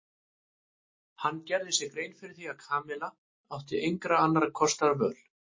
Hann gerði sér grein fyrir því að Kamilla átti engra annarra kosta völ.